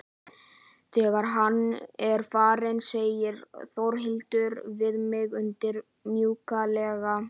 Þegar hann er farinn segir Þórhildur við mig undur mjúklega.